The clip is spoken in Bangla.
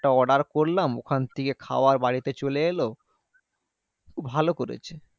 Order করলাম। ওখান থেকে খাবার বাড়িতে চলে এলো, ভালো করেছে।